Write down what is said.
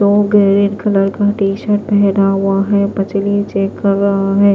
वो green colour का t shirt पहना हुआ है पचली चेक कर रहा है।